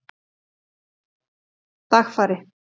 Dagfari